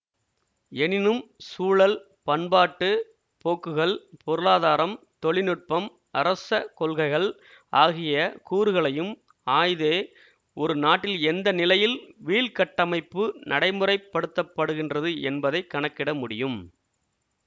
எனினும் சூழல் பண்பாட்டு போக்குகள் பொருளாதாரம் தொழில்நுட்பம் அரச கொள்கைகள் ஆகிய கூறுகளையும் ஆய்தே ஒரு நாட்டில் எந்த நிலையில் வீழ்கட்டமைப்பு நடைமுறைப்படுத்தப்படுகின்றது என்பதை கணக்கிட முடியும்